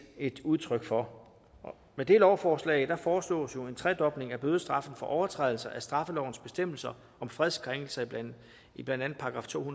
et udtryk for med det lovforslag foreslås jo en tredobling af bødestraffen for overtrædelser af straffelovens bestemmelser om fredskrænkelser i blandt andet § to